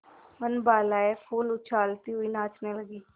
वनबालाएँ फूल उछालती हुई नाचने लगी